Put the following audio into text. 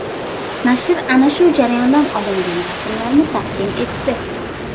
Nashr ana shu jarayondan olingan rasmlarni taqdim etdi.